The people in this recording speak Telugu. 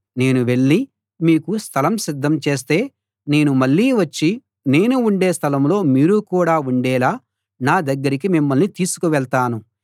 నేను వెళ్ళి మీకు స్థలం సిద్ధం చేస్తే నేను మళ్ళీ వచ్చి నేను ఉండే స్థలంలో మీరు కూడా ఉండేలా నా దగ్గరికి మిమ్మల్ని తీసుకు వెళ్తాను